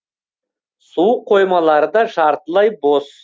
су қоймалары да жартылай бос